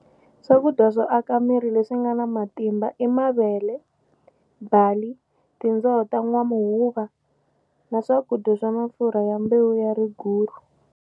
Swakudya swo aka leswi nga na matimba i mavele, bali, tindzoho ta n'wamuhuva na swakudya swa mafurha ya mbewu ya riguru.